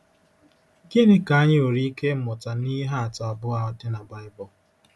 Gịnị ka anyị nwere ike ịmụta n’ihe atụ abụọ a dị na Baịbụl?